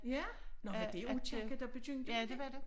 Ja nå var det Aakirke der begyndte med det?